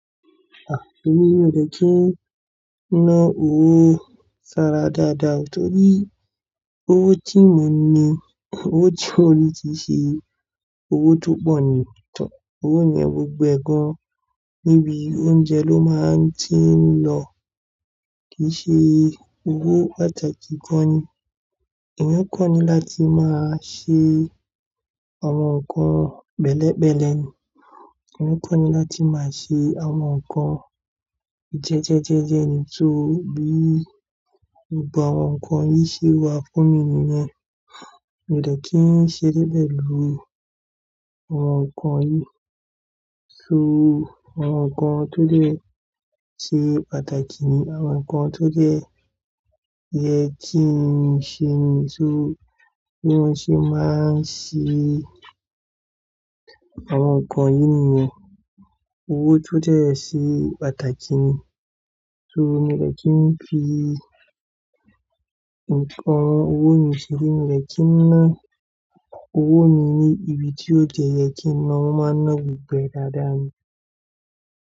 Ah, èmi ò mí o dẹ̀ kí ń ná owó sara dáadáa o torí owó tí mo n na, owó tí mo rí kii ṣe owó tó pọ̀ ni. To, owó yẹn gbogbo ẹ̀ gan níbi oúnjẹ ló máa ń ti ń lọ. Kì í ṣe owó pàtàkì kan ni. Èmi kọ́ ni láti máa ṣe àwọn nǹkan pẹ̀lẹ̀pẹ̀lẹ̀ ni. Èmi kọ́ ni láti máa ṣe àwọn nǹkan jẹ́jẹ́jẹ́jẹ́ ni. Tó bí gbogbo àwọn nǹkan yìí ṣe wá fún mi nìyẹn, mio dẹ̀ kí ń ṣe débé lo àwọn nǹkan yìí. So àwọn nǹkan tó dè ṣe pàtàkì ni àwọn nǹkan tó dẹ yẹ kí n ṣe ni. So bí wọ́n ṣe máa ń ṣe àwọn nǹkan yìí nìyẹn, owó tó dẹ́ ẹ ṣe pàtàkì ni. So mo dẹ̀ kí ń fi awon owó mi ṣe ri. Mio dẹ̀ kí ń ná owó mi ní ibi tí ó dẹ yẹ kí n na máa ń ná gbogbo ẹ̀ dáadáa ni.